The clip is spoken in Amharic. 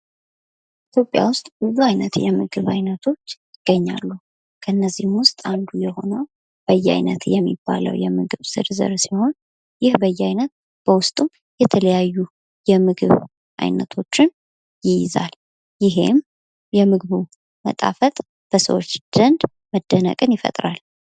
ኢትዮጵያ ውስጥ ብዙ አይነት የምግብ ዓይነቶች ይገኛሉ ። ከእነዚህም ውስጥ አንዱ የሆነው በያይነት የሚባለው የምግብ ዝርዝር ሲሆን ይህ በያይነት በውስጡ የተለያዩ ምግብ አይነቶችን ይይዛል ። ይሄም የምግቡ መጣፈጥ በሰዎች ዘንድ መደነቅን ይፈጥራል ።